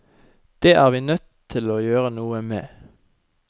Det er vi nødt til å gjøre noe med.